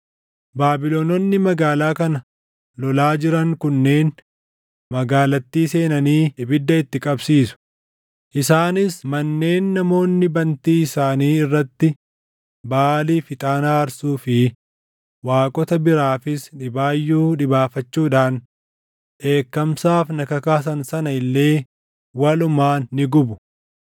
Baabilononni magaalaa kana lolaa jiran kunneen magaalattii seenanii ibidda itti qabsiisu; isaanis manneen namoonni bantii isaanii irratti Baʼaaliif ixaana aarsuu fi waaqota biraafis dhibaayyuu dhibaafachuudhaan dheekkamsaaf na kakaasan sana illee walumaan ni gubu.